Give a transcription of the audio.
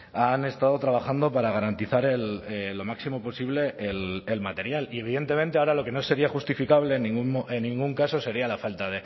han estado trabajando para garantizar lo máximo posible el material y evidentemente ahora lo que no sería justificable en ningún caso sería la falta